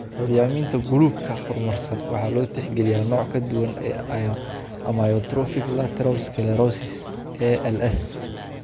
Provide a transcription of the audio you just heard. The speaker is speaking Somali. Curyaaminta guluubka horumarsan waxa loo tixgaliyaa nooc ka duwan ee amyotrophic lateral sclerosis (ALS).